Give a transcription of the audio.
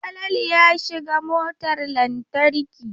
Falalu ya shiga motar lantarki.